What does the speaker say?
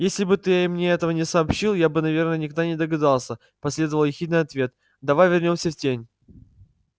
если бы ты мне этого не сообщил я бы наверное никогда не догадался последовал ехидный ответ давай вернёмся в тень